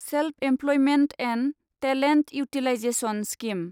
self employment and talent utilisation scheme